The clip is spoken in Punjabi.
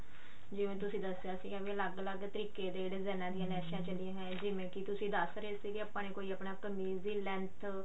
ਜਿਵੇਂ ਤੁਸੀਂ ਦੱਸਿਆ ਸੀ ਵੀ ਅਲੱਗ ਅਲੱਗ ਤਰੀਕੇ ਦੇ ਵਾਲੀਆਂ ਲੈਸਾਂ ਚੱਲੀਆਂ ਜਿਵੇਂ ਕਿ ਤੁਸੀਂ ਦੱਸ ਰਹੇ ਸੀ ਕਿ ਆਪਾਂ ਨੇ ਕੋਈ ਆਪਣਾ ਕਮੀਜ਼ ਦੀ length